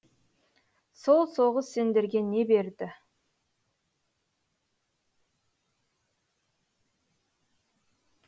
сол соғыс сендерге не берді